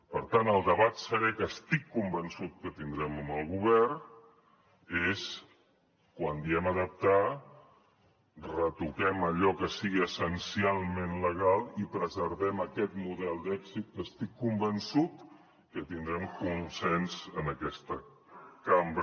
per tant el debat serè que estic convençut que tindrem amb el govern és quan diem adaptar retoquem allò que sigui essencialment legal i preservem aquest model d’èxit que estic convençut que tindrem consens en aquesta cambra